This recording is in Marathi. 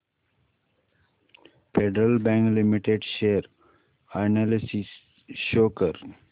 federal Bank Limited share analysis show कर